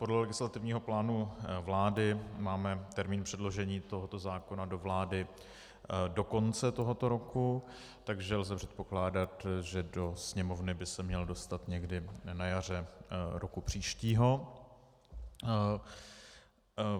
Podle legislativního plánu vlády máme termín předložení tohoto zákona do vlády do konce tohoto roku, takže lze předpokládat, že do Sněmovny by se měl dostat někdy na jaře roku příštího.